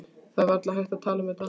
Það er varla hægt að tala um þetta.